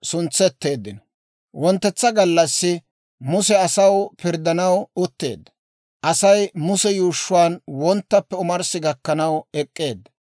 Wonttetsa gallassi Muse asaw pirddanaw utteedda; Asay Muse yuushshuwaan wonttappe omarssi gakkanaw ek'k'eedda.